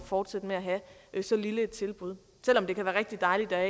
fortsætte med at have så lille et tilbud selv om det kan være rigtig dejligt at